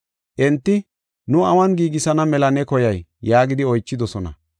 Enti, “Nu awun giigisana mela ne koyay” yaagidi oychidosona.